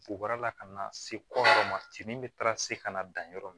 Bugura la ka na se kɔɔrɔ ma ci min bɛ taara se ka na dan yɔrɔ min